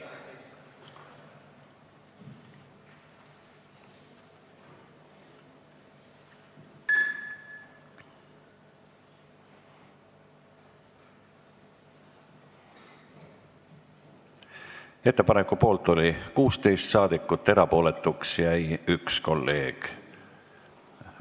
Hääletustulemused Ettepaneku poolt oli 16 saadikut, erapooletuks jäi 1 kolleeg.